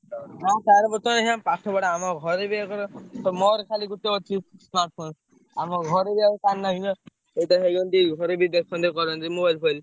ହଁ ତାର ବର୍ତ୍ତମାନ ଅଇଖା ପାଠ ପଢା ଆମ ଘରେ ବି ଆଉ କାହାର ତ ମୋର ଖାଲି ଗୋଟେ ଅଛି smartphone ଆମ ଘରେ ବି ଆଉ କାହାର ନାହିଁ ନା। ଏଇଟା ହେଲେ ଗଲେ ବି ଘରେ ବି ଦେଖନ୍ତେ କରନ୍ତି mobile ଫୋବାଇଲ୍।